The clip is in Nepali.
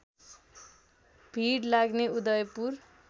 भिड लाग्ने उदयपुर